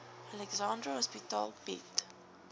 alexandra hospitaal bied